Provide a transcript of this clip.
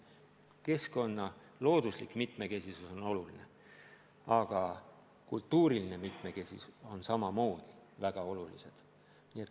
Keskkonna looduslik mitmekesisus on oluline, aga kultuuriline mitmekesisus on samamoodi väga oluline.